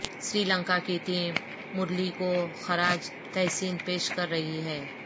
سری لنکا کی ٹیم مرلی کو خراج تحسین پیش کر رہی ہے